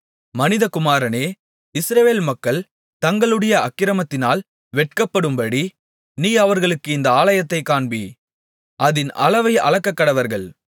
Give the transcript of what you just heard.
மனிதகுமாரனே இஸ்ரவேல் மக்கள் தங்களுடைய அக்கிரமத்தினால் வெட்கப்படும்படி நீ அவர்களுக்கு இந்த ஆலயத்தைக் காண்பி அதின் அளவை அளக்கக்கடவர்கள்